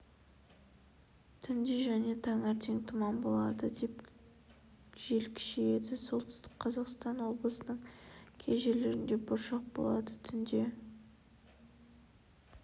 түнде және таңертең тұман болады жел күшейеді солтүстік қазақстан облысының кей жерлерінде бұршақ болады түнде